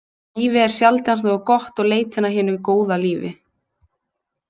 Lífið er sjaldnast nógu gott og leitin að hinu góða lífi.